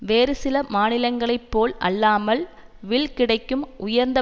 வேறு சில மாநிலங்களைப்போல் அல்லாமல் வில் கிடைக்கும் உயர்ந்த